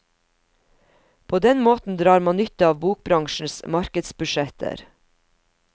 På den måten drar man nytte av bokbransjens markedsbudsjetter.